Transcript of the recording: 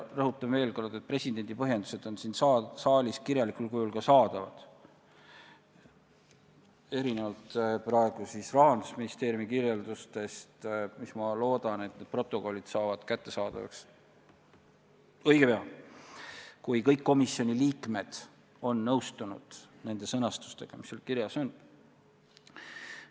Rõhutan veel kord, et presidendi põhjendused on siin saalis kirjalikul kujul olemas, erinevalt Rahandusministeeriumi kirjeldustest, mis, ma loodan, saavad kättesaadavaks õige pea, kui kõik komisjoni liikmed on nõustunud selle sõnastusega, mis neis protokollides kirjas on.